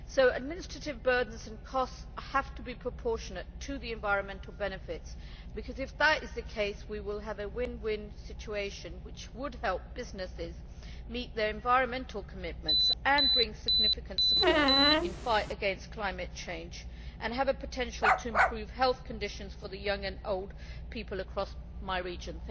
Administrative burdens and costs have to be proportionate to the environmental benefits, because if that is the case, we will have a win win situation which would help businesses meet their environmental commitments, bring significant support in the fight against climate change, and have the potential to improve health conditions for young and old people across my region.